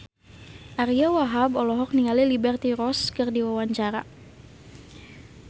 Ariyo Wahab olohok ningali Liberty Ross keur diwawancara